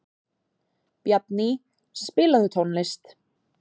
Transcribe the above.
Bjarný, spilaðu tónlist.